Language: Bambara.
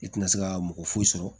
I tina se ka mɔgɔ foyi sɔrɔ